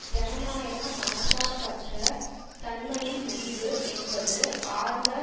ஜனநாயக மனசார்பற்ற தன்மையின் முறிவு என்பது ஆழ்ந்த